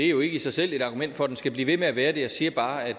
jo ikke i sig selv et argument for at den skal blive ved med at være det jeg siger bare at